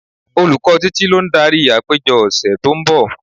Olùkọ́ Títí lo ń darí àpéjọ ọ̀sẹ̀ tó ń bọ̀.